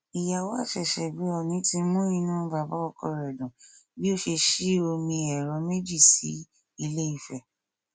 ìyàwó àṣẹṣẹgbè ọọnì ti mú inú bàbá ọkọ rẹ dùn bí ó ṣe sí omi ẹrọ méjì sí iléife